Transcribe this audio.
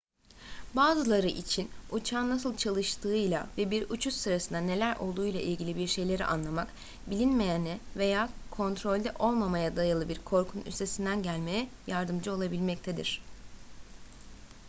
bazıları için uçağın nasıl çalıştığıyla ve bir uçuş sırasında neler olduğuyla ilgili bir şeyleri anlamak bilinmeyene veya kontrolde olmamaya dayalı bir korkunun üstesinden gelmeye yardımcı olabilmektedir